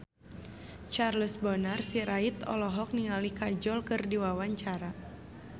Charles Bonar Sirait olohok ningali Kajol keur diwawancara